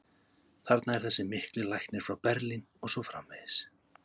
þarna er þessi mikli læknir frá Berlín og svo framvegis.